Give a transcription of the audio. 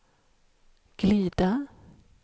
glida